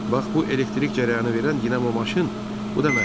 Bax bu elektrik cərəyanı verən dinamo maşın, bu da məftil.